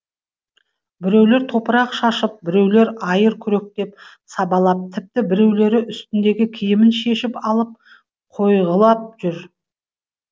біреулер топырақ шашып біреулер айыр күректеп сабалап тіпті біреулері үстіндегі киімін шешіп алып қойғылап жүр